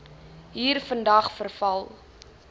hier vandag veral